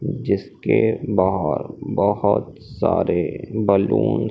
जिसके बाहर बहोत सारे बलून --